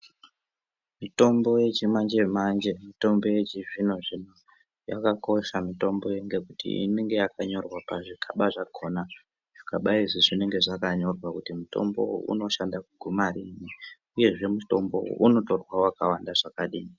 Mitombo yechimanje manje mitombo yechizvino zvino yakakosha mitombo iyi ngekuti inenge yakanyorwa pazvikaba zvakhona. Zvikaba izvi zvinenge zvakanyorwa kuti mitombo uyu unoshanda kuguma riini, uyezve mutombo unotorwa wakawanda zvakadini.